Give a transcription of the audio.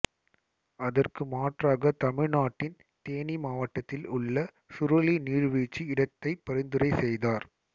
அதற்கு மாற்றாக தமிழ் நாட்டின் தேனி மாவட்டத்தில் உள்ள சுருளி நீர்வீழ்ச்சி இடத்தை பரிந்துரை செய்தார்